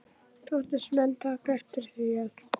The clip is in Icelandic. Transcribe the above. Þóttust menn taka eftir því, að